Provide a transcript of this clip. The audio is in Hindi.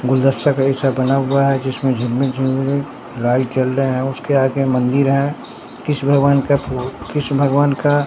गुलदस्ता कैसे बना हुआ है जिसमें झिलमिल झिलमिल लाइव चल रहे हैं उसके आगे मंदिर है कीश भगवान का कृष्ण भगवान का--